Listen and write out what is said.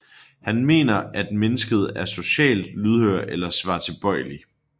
Han mener at at mennesket er socialt lydhør eller svartilbøjelig